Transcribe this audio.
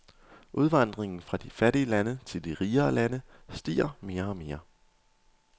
Udvandringen fra de fattige lande til de rigere lande stiger mere og mere.